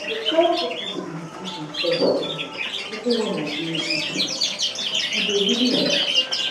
i dey try put this meditation first um even when i dey busy- e dey really help.